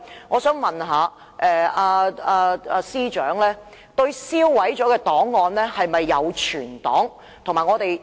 我想問司長，已經銷毀的檔案有否存檔？